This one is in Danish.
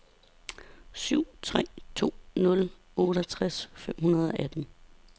syv tre to nul otteogtres fem hundrede og atten